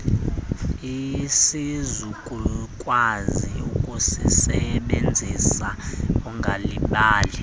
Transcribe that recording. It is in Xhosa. asizukukwazi ukusisebenzisa ungalibali